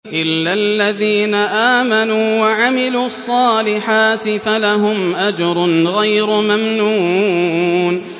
إِلَّا الَّذِينَ آمَنُوا وَعَمِلُوا الصَّالِحَاتِ فَلَهُمْ أَجْرٌ غَيْرُ مَمْنُونٍ